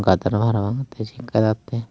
gadar obo parapang te siot dega jattey.